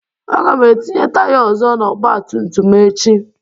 Aga m etinye taya ọzọ n'ọgba tum tum m echi.